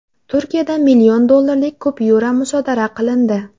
Turkiyada million dollarlik kupyura musodara qilindi.